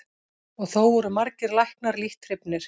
Og þó voru margir læknar lítt hrifnir.